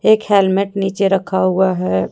एक हेलमेट नीचे रखा हुआ है।